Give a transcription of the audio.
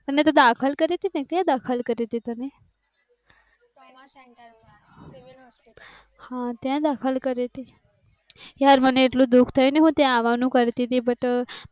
તને તો દાખલ કરી હતી. તેમાં દખલ કરી તી તને. હા દાખલ કરી હતી. યાર મને એટલું દુખ થયું તે આવા નું કરતી તી but